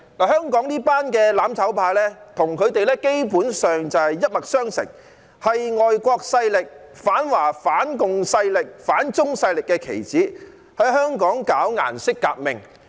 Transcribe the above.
香港這群"攬炒派"基本上與他們一脈相承，是外國勢力、反華反共勢力、反中勢力的棋子，在香港搞顏色革命。